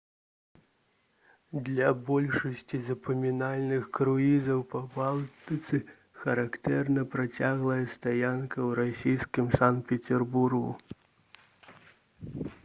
для большасці запамінальных круізаў па балтыцы характэрна працяглая стаянка ў расійскім санкт-пецярбургу